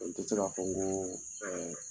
N ti se ka fɔ ko ɛɛ